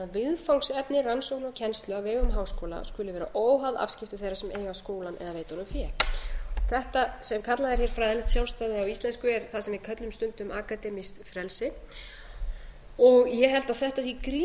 viðfangsefni rannsókna og kennslu á vegum háskóla skuli vera óháð afskiptum þeirra sem eiga skólann eða veita honum fé þetta sem kallað er hér fræðilegt sjálfstæði á íslensku er það sem við köllum stundum akademískt frelsi og ég held að þetta sé gríðarlega mikilvægt ákvæði inn í lög